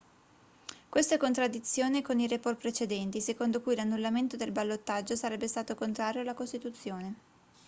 questo è in contraddizione con i report precedenti secondo cui l'annullamento del ballottaggio sarebbe stato contrario alla costituzione